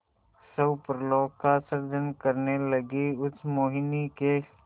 स्वप्नलोक का सृजन करने लगीउस मोहिनी के